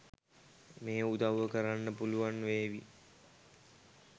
මේ උදව්ව කරන්න පුලුවන් වේවි.